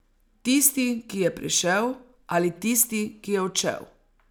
Tisti, ki je prišel, ali tisti, ki je odšel?